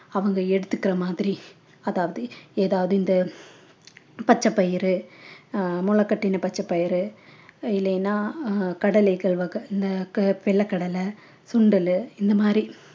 அவங்க எடுத்துக்கிற மாதிரி அதாவது ஏதாவது இந்த பச்சை பயிறு அஹ் முளைகட்டின பச்சை பயிறு இல்லைன்னா அஹ் கடலைகள் வக~ வெள்ளை கடலை சுண்டலு இந்த மாதிரி